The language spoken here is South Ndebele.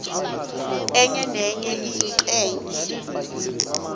enye nenye ingcenye